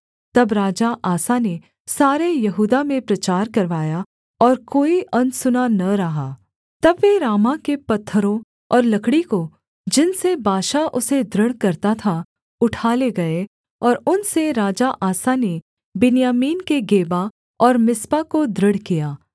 तब राजा आसा ने सारे यहूदा में प्रचार करवाया और कोई अनसुना न रहा तब वे रामाह के पत्थरों और लकड़ी को जिनसे बाशा उसे दृढ़ करता था उठा ले गए और उनसे राजा आसा ने बिन्यामीन के गेबा और मिस्पा को दृढ़ किया